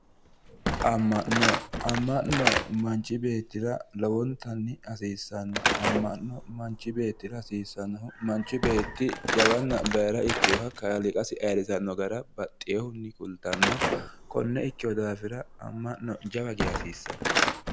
Ama'no, ama'no manchi beettira lowontanni hasiisano ,amano'mo manchi beettira hasiisano, manchi beetti jawanna baayira ikkinoha kaaliiqasi ayirrisano gara baxinohunni kulittano kone ikkino daafira ama'no jawa geeshsha hasiisano